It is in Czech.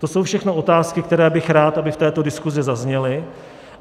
To jsou všechno otázky, které bych rád, aby v této diskusi zazněly.